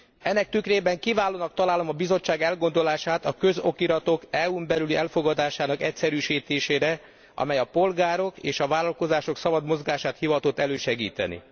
Ennek tükrében kiválónak találom a Bizottság elgondolását a közokiratok EU n belüli elfogadásának egyszerűsítéséről, amely a polgárok és a vállalkozások szabad mozgását hivatott elősegíteni.